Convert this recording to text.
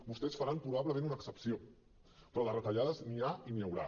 vostès faran probablement una excepció però de retallades n’hi ha i n’hi haurà